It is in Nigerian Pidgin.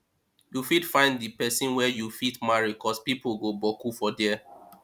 yu fit find di pesin wey yu fit marry cos pipo go boku for dia